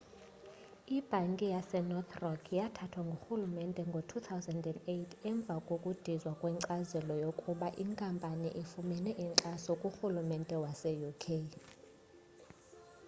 ibhanki yasenorth rock yathathwa ngurhulumente ngo-2008 emva kokudizwa kwenkcazelo yokuba inkampani ifumene inkxaso kurhulumente wase uk